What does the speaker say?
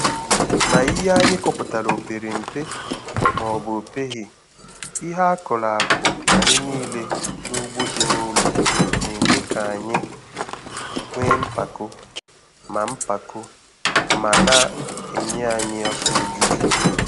Ma ihe ndị anyị kọpụtara o pere mpe maọbụ na opeghi, ihe akụrụ akụ anyị niile n'ugbo dị n'ụlọ na-eme ka anyị nwee mpako ma mpako ma na-enye anyị afọ ojuju.